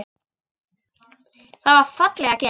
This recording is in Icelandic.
Það var fallega gert.